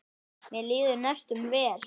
Mér líður næstum vel.